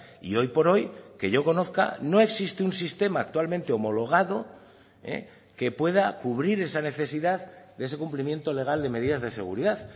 y hoy por hoy que yo conozca no existe un sistema actualmente homologado que pueda cubrir esa necesidad de ese cumplimiento legal de medidas de seguridad